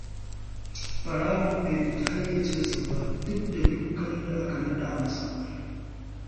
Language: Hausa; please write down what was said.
Ɓarawon bai fita hayyacinsa ba, duk da dukan da aka naɗa masa.